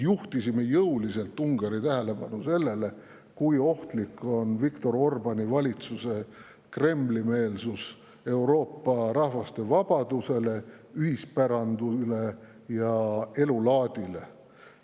Juhtisime ka jõuliselt Ungari tähelepanu sellele, kui ohtlik on Viktor Orbáni valitsuse Kremli-meelsus Euroopa rahvaste vabadusele, ühispärandile ja elulaadile.